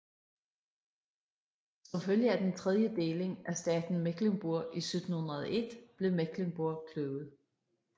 Som følge af den tredje deling af staten Mecklenburg i 1701 blev Mecklenburg kløvet